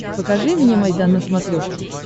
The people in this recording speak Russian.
покажи мне майдан на смотрешке